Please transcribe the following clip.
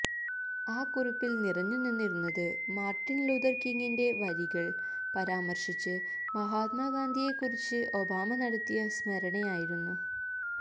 ആ കുറിപ്പില് നിറഞ്ഞു നിന്നിരുന്നത് മാര്ട്ടിന് ലൂഥര് കിംഗിന്റെ വരികള് പരാമര്ശിച്ച് മഹാത്മാ ഗാന്ധിയെക്കുറിച്ച് ഒബാമ നടത്തിയ സ്മരണയായിരുന്നു